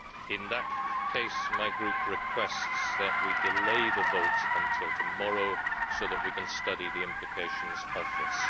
In that case, my group requests that we delay the vote until tomorrow so that we can study the implications of this.